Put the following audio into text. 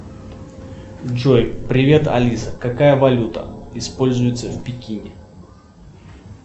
джой привет алиса какая валюта используется в пекине